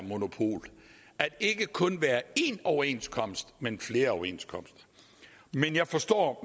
monopol at der ikke kun skal være én overenskomst men flere overenskomster men jeg forstår